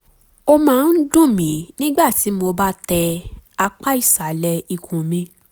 ó máa ń dùn mí nígbà tí mo bá tẹ apá ìsàlẹ̀ ikùn mi